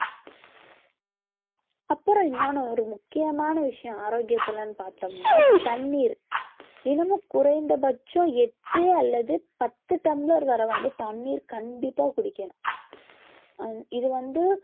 அப்புறம் இன்னொன்னு ஒரு முக்கியமான விஷயம் ஆரோக்கியத்துலன்னு பார்த்தோம்னா தண்ணீர் தினமும் குறைந்த பட்சம் எட்டு அல்லது பத்து tumbler வரை வந்து தண்ணீர் கண்டிப்பா குடிக்கணும் அஹ் இது வந்து